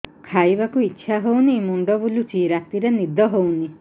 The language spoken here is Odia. ଖାଇବାକୁ ଇଛା ହଉନି ମୁଣ୍ଡ ବୁଲୁଚି ରାତିରେ ନିଦ ହଉନି